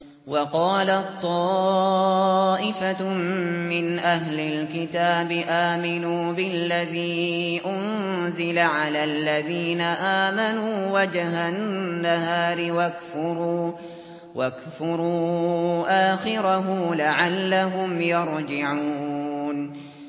وَقَالَت طَّائِفَةٌ مِّنْ أَهْلِ الْكِتَابِ آمِنُوا بِالَّذِي أُنزِلَ عَلَى الَّذِينَ آمَنُوا وَجْهَ النَّهَارِ وَاكْفُرُوا آخِرَهُ لَعَلَّهُمْ يَرْجِعُونَ